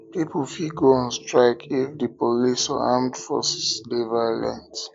pipo fit go on strike if the police or armed forces de violent